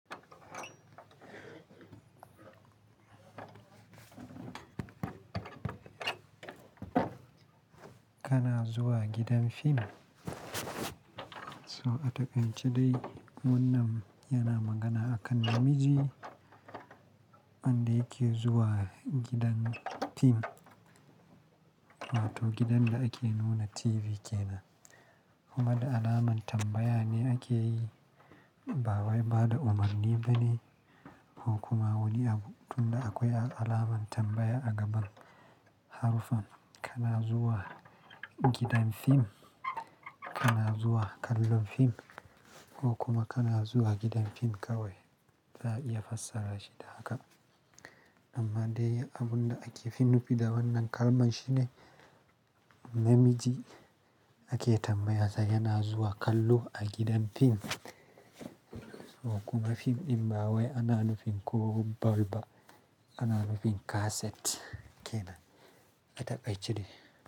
Kana zuwa gidan fim? So a takaice dai wannan yana magana akan namiji, wanda yake zuwa gidan fim. Wato gidan da ake nuna TV ke nan. Kuma da alaman tambaya ne ake yi. Ba wai ba da umarni bane, ko kuma wani abu. Tun da akwai alamar tambaya a gaban harufan. Kana zuwa gidan fim? Kana zuwa kallon fim? Ko kuma kana zuwa gidan fim kawai? Za'a iya fassara shi da haka. Amma dai abun da ake fin nufi da wannan kalman shine, namiji ake tambaya sa yana zuwa kallo a gidan fim. So kuma fim in ba wai ana nufin ko ball ba, ana nufin kaset kenan. A takaice dai.